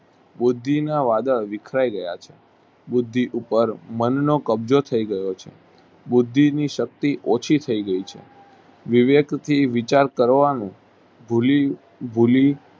બુદ્ધિના વાદળ વિખરાય ગયા છે. ભુધુ ઉપર મનનો કબ્જો થઇ ગયો છે. બુદ્ધિ ની શક્તિ ઓછી થઇ ગઈ છે વિવેક થી વિચાર કરવાનું ભૂલી ભૂલી